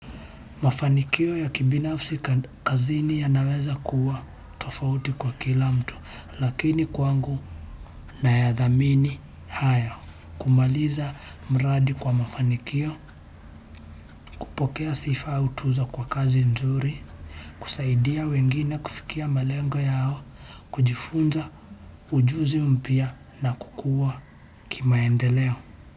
Mafanikio ya kibinafsi kazini yanaweza kuwa tofauti kwa kila mtu lakini kwangu nayadhamini haya kumaliza mradi kwa mafanikio, kupokea sifa au tuzo kwa kazi nzuri, kusaidia wengine kufikia malengo yao, kujifunza ujuzi mpya na kukuwa kimaendeleo.